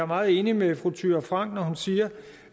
meget enig med fru thyra frank når hun siger